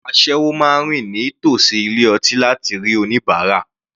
Àwọn asẹ́wọ máa rìn ní tòsí ilé ọtí láti rí oníbárà.